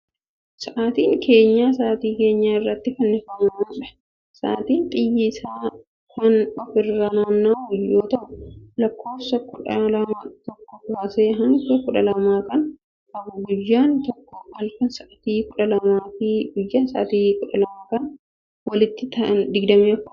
Sa'aatiin keenyaa, sa'aati keenyaa irratti fannifamuu dha. Sa'aatin xiyyi isaa kan of irra naanna'u yoo ta'u, lakkoofsota kudha lama tokkoo kaasee hanga kudha lamaa jiran qaba. Guyyaan tokko halkan, sa'aati kudha lamaa fi guyyaa sa'aati kudha lama walitti sa'atii digdami afur qaba.